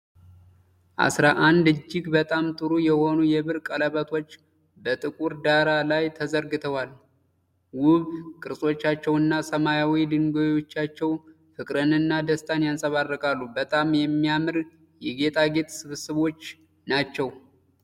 አሥራ አንድ እጅግ በጣም ጥሩ የሆኑ የብር ቀለበቶች በጥቁር ዳራ ላይ ተዘርግተዋል። ውብ ቅርጾቻቸውና ሰማያዊ ድንጋዮቻቸው ፍቅርንና ደስታን ያንፀባርቃሉ። በጣም የሚያምር የጌጣጌጥ ስብስቦች ናቸው።